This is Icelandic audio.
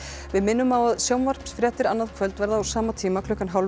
við minnum á að sjónvarpsfréttir annað kvöld verða á sama tíma klukkan